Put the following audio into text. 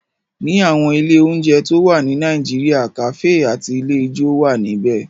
Ní àwọn ilé oúnjẹ tó wà ní Nàìjíríà, kàfé àti ilé ijó wà níbẹ̀